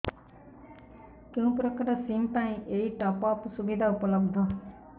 କେଉଁ ପ୍ରକାର ସିମ୍ ପାଇଁ ଏଇ ଟପ୍ଅପ୍ ସୁବିଧା ଉପଲବ୍ଧ